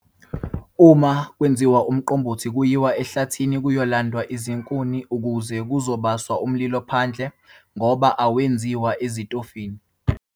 Uma kwenziwa uMqombothi kuyiwa ehlathini kuyolandwa izinkuni ukuze kuzobaswa umlilo phandle ngoba awenziwa ezitofini.